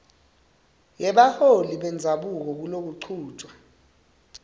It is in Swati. yebaholi bendzabuko kulokuchutjwa